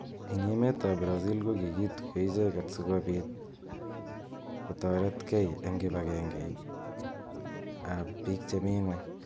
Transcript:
Eng emet ab brazil kokituyo icheket sikobit kotoretkei eng kipangeit ab bik chemi ng'ony.